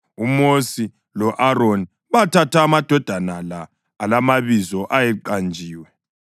UMosi lo-Aroni bathatha amadoda la alamabizo ayeqanjiwe